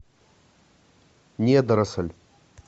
недоросль